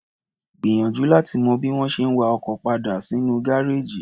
Gbìyànjú láti mọ bí wọ́n ṣe ń wa ọkọ̀ padal sínú gáréèjì.